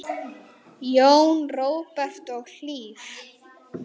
Jón Róbert og Hlíf.